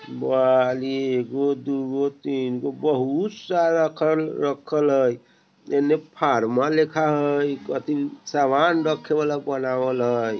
एगो दू गो तीन गो बहुत सारा खर-रखल हय इने फारमा लिखा हय सामान रखेवाला बनावल हय।